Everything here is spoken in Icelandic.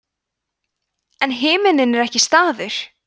en himinninn er ekki staður